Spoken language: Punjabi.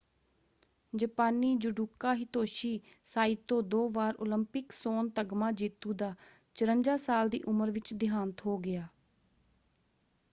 ਜਪਾਨੀ ਜੂਡੋਕਾ ਹਿਤੋਸ਼ੀ ਸਾਈਤੋ ਦੋ ਵਾਰ ਉਲੰਪਿਕ ਸੋਨ ਤਗਮਾ ਜੇਤੂ ਦਾ 54 ਸਾਲ ਦੀ ਉਮਰ ਵਿੱਚ ਦਿਹਾਂਤ ਹੋ ਗਿਆ।